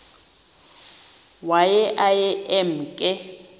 waye aye emke